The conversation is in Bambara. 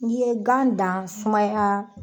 Ni ye gan dan sumaya